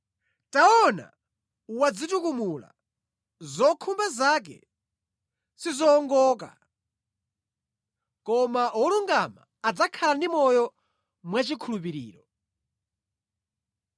“Taona, mdani wadzitukumula; zokhumba zake sizowongoka, koma wolungama adzakhala ndi moyo mwachikhulupiriro.